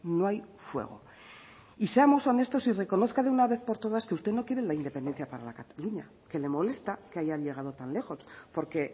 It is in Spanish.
no hay fuego y seamos honestos y reconozca de una vez por todas que usted no quiere la independencia para cataluña que le molesta que hayan llegado tan lejos porque